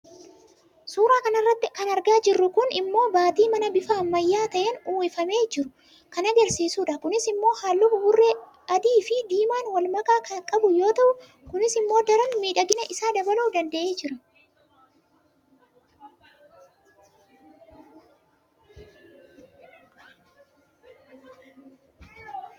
suuraa kana irratti kan argaa jirru kun immoo baatii manaa bifa ammayya'aa ta'een uwwifamee jiru kan agarsiisudha. kunis immoo halluu buburree adiifi diimaan walmakaa kan qabu yoo ta'u kunis immoo daran miidhagina isaa dabaluu danda'ee jira.